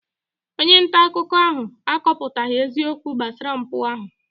Onye nta akụkọ ahụ akọpụtaghị eziokwu gbasara mpụ ahụ.